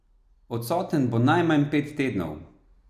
Odsoten bo najmanj pet tednov.